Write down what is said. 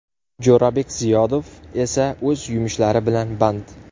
Jo‘rabek Ziyodov esa o‘z yumushlari bilan band.